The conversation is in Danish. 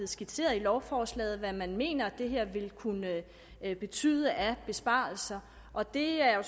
skitseret i lovforslaget hvad man mener det her vil kunne betyde af besparelser og det er jo